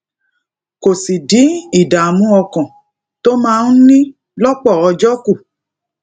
kó sì dín ìdààmú ọkàn tó máa ń ní lópò ọjó kù